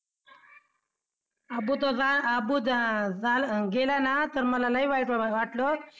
अबू जा गेला ना तर मला लई वाईट वाटलं.